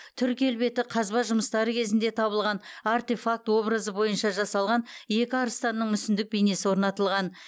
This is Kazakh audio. түр келбеті қазба жұмыстары кезінде табылған артефакт образы бойынша жасалған екі арыстанның мүсіндік бейнесі орнатылған